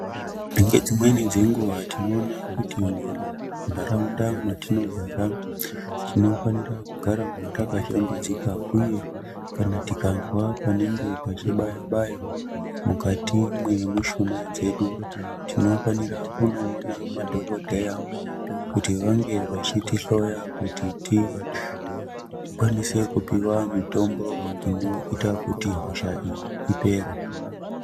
Ngedzimweni dzenguva tinoona kuti muntaraunda mwatinogara tinofanira kugarawo takashambidzika. Uye kana tikanzwa panenge pachibaya-baya mukati mwemushuna dzedu tinofanira kunoona madhokodheya kuti vange vechitihloya kuti tikwanise kupiwa mitombo inoita kuti hosha iyi ipere.